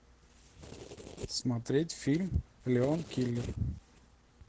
смотреть фильм леон киллер